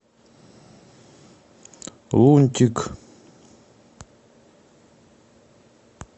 лунтик